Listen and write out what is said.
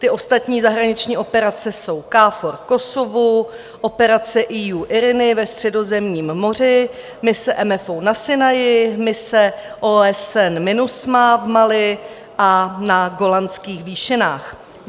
Ty ostatní zahraniční operace jsou KFOR v Kosovu, operace EU IRINI ve Středozemním moři, mise MFO na Sinaji, mise OSN MINUSMA v Mali a na Golanských výšinách.